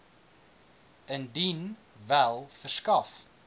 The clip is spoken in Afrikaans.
indien wel verskaf